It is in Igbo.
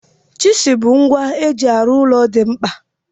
Chizụl bụ ngwa eji arụ ụlọ dị mkpa.